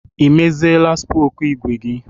I meziela spoku ígwè gi